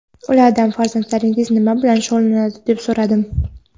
Ulardan "farzandlaringiz nima bilan shug‘ullanadi, deb so‘radim?"